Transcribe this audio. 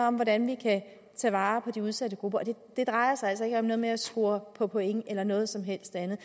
om hvordan vi kan tage vare på de udsatte grupper det drejer sig altså ikke om noget med at score på point eller noget som helst andet